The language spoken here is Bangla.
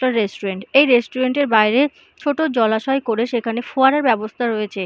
এটা রেস্টুরেন্ট এই রেস্টুরেন্ট - এর বাইরে ছোট জলাশয় করে সেখানে ফোয়ারার ব্যবস্থা করা রয়েছে --